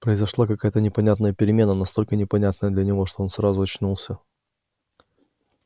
произошла какая то непонятная перемена настолько непонятная для него что он сразу очнулся